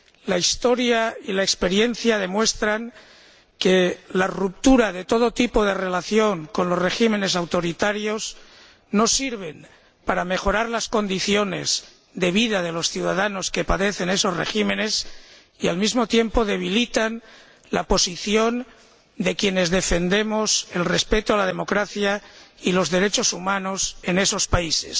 La historia y la experiencia demuestran que la ruptura de todo tipo de relación con los regímenes autoritarios no sirve para mejorar las condiciones de vida de los ciudadanos que padecen esos regímenes y, al mismo tiempo, debilita la posición de quienes defendemos el respeto de la democracia y los derechos humanos en esos países.